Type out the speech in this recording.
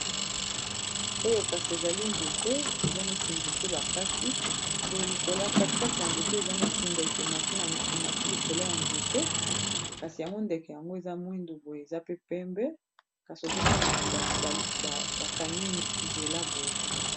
Oyo kasi ezali nzete eza neti nzete bakati boye likolo kati kati ya nzete eza neti ndeke emati likolo ya nzete kasi yango ndeke yango eza mwindu boye aza pe pembe kasi nazomona bakangi nzela boye.